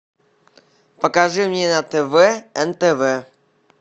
покажи мне на тв нтв